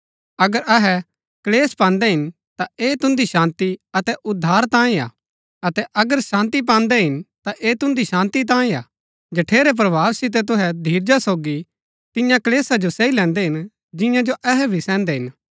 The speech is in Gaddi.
अगर अहै क्‍लेश पान्दै हिन ता ऐह तुन्दी शान्ती अतै उद्धार तांयें हा अतै अगर शान्ती पान्दै हिन ता ऐह तुन्दी शान्ती तांयें हा जठेरै प्रभाव सितै तुहै धीरजा सोगी तियां क्‍लेशा जो सही लैन्दै हिन जियां जो अहै भी सैहन्दै हिन